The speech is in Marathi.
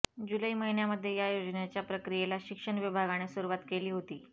जुलै महिन्यामध्ये या योजनेच्या प्रक्रियेला शिक्षण विभागाने सुरुवात केली होती